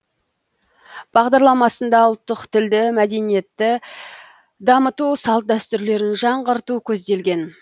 бағдарламасында ұлттық тілді мәдениетті дамыту салт дәстүрлерін жаңғырту көзделген